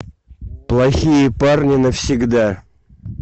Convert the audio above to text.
плохие парни навсегда